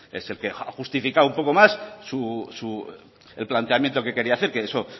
es el que ha justificado un poco más el planteamiento que quería hacer que eso